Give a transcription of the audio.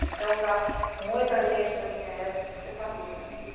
Então, da... muita gente da minha época se separou, né?